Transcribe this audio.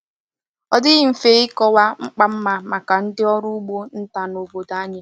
Ọ dịghị mfe ịkọwa mkpa mma maka ndị ọrụ ugbo nta na obodo anyị.